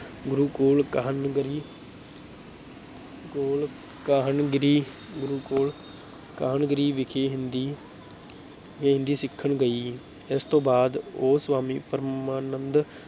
ਗੁਰੂਕੁਲ ਕਾਹਨਗਰੀ ਕੋਲ ਕਾਹਨਗਰੀ ਗੁਰੂਕੁਲ ਕਾਹਨਗਰੀ ਵਿਖੇ ਹਿੰਦੀ ਵੀ ਹਿੰਦੀ ਸਿੱਖਣ ਗਈ, ਇਸ ਤੋਂ ਬਾਅਦ ਉਹ ਸਵਾਮੀ ਪਰਮਾਨੰਦ